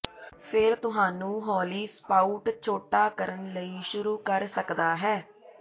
ਫਿਰ ਤੁਹਾਨੂੰ ਹੌਲੀ ਸਪਾਉਟ ਛੋਟਾ ਕਰਨ ਲਈ ਸ਼ੁਰੂ ਕਰ ਸਕਦਾ ਹੈ